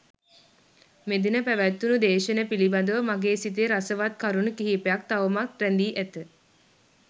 මෙදින පැවත්වුනු දේශන පිළිබඳව මගේ සිතේ රසවත් කරුණු කිහිපයක් තවමත් රැඳී ඇත.